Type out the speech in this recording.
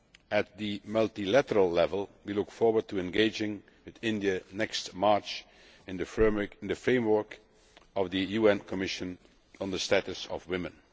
At the multilateral level we look forward to engaging with India next March in the framework of the UN Commission on the Status of Women.